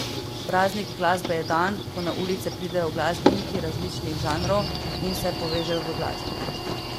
Praznik glasbe je dan, ko na ulice pridejo glasbeniki različnih žanrov in se povežejo v glasbi.